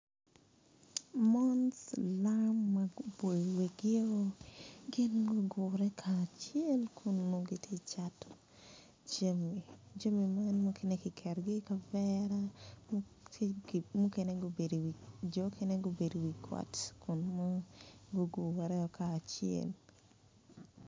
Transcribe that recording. Mon silam ma guboyo wigio gin gugure kacel kun gitye ka cat jami ma kiketo i kavera jo mukene gubedo i wi got gugure kacel.